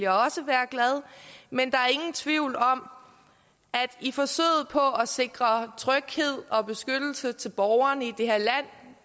også være glad men der er ingen tvivl om at vi i forsøget på at sikre tryghed og beskyttelse til borgerne